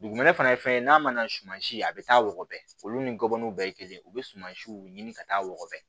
Dugumɛnɛ fana ye fɛn ye n'a mana suman si a bɛ taa wɔgɔbɛ olu ni gɔbɔniw bɛɛ ye kelen yen u bɛ sumansiw ɲini ka taa wɔgɔbɛ